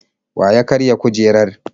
Wa ya karya kujerar?